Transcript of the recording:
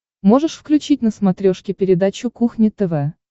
можешь включить на смотрешке передачу кухня тв